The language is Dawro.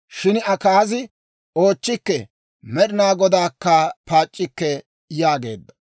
Shin Akaazi, «Oochchikke; Med'inaa Godaakka paac'c'ikke» yaageedda.